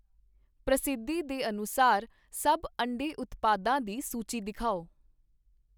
ਪ੍ਰਸਿੱਧੀ ਦੇ ਅਨੁਸਾਰ ਸਭ ਅੰਡੇ ਉਤਪਾਦਾ ਦੀ ਸੂਚੀ ਦਿਖਾਓ